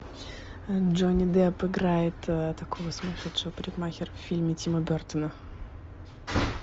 джонни депп играет такого сумасшедшего парикмахера в фильме тима бертона